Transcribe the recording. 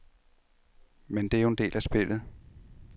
Men det er jo en del af spillet.